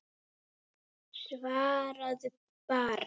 Svaraðu bara.